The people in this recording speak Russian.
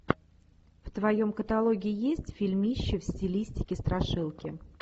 в твоем каталоге есть фильмище в стилистике страшилки